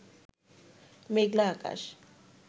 মেঘলা আকাশ